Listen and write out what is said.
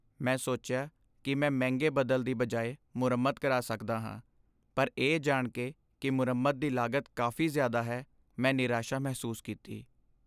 ਮੈਂ ਸੋਚਿਆ ਕਿ ਮੈਂ ਮਹਿੰਗੇ ਬਦਲ ਦੀ ਬਜਾਏ ਮੁਰੰਮਤ ਕਰਾ ਸਕਦਾ ਹਾਂ, ਪਰ ਇਹ ਜਾਣ ਕੇ ਕਿ ਮੁਰੰਮਤ ਦੀ ਲਾਗਤ ਕਾਫ਼ੀ ਜ਼ਿਆਦਾ ਹੈ, ਮੈਂ ਨਿਰਾਸ਼ਾ ਮਹਿਸੂਸ ਕੀਤੀ।